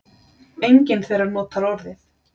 Enginn þeirra notar orðið